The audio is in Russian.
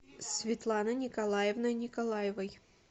светланой николаевной николаевой